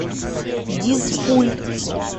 дизфуль